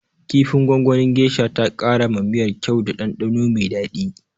Kifin gwangwanin geisha ta kara ma miyar kyau da ɗanɗano mai daɗi.